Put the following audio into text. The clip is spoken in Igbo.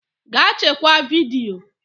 Gaa chekwaa vidiyo